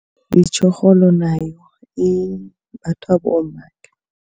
Itjorholo nayo imbathwa bomma.